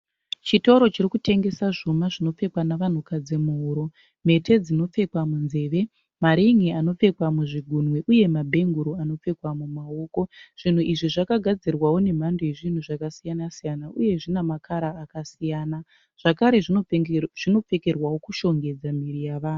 Chitoro chiri kutengesa zvuma zvinopfekwa navanhukadzi muhuro, mhete dzinopfekwa munzeve, maringi anopfekwa muzvigunwe uye mabhenguru anopfekwa mumaoko, zvinhu izvi zvakagadzirwawo nemhando yezvinhu zvakasiyana siyana uye zvina makara akasiyana zvakare zvinopfekerwawo kushongedza miviri yavanhu.